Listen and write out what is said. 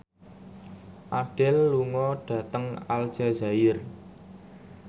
Adele lunga dhateng Aljazair